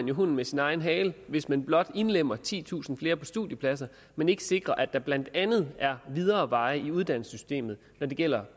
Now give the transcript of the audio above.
jo hunden med sin egen hale hvis man blot indlemmer titusind flere i studiepladser men ikke sikrer at der blandt andet er videre veje i uddannelsessystemet når det gælder